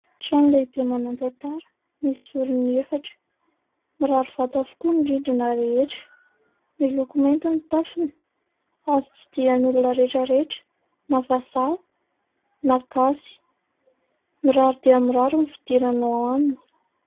Trano lehibe manan-tantara misy zoriny efatra mirary vato avokoa ny rindrina rehetra miloko mainty ny tafony azo tsidian'olona rehetrarehetra na vazaha na gasy. Mirary dia mirary ny fidirana ao aminy.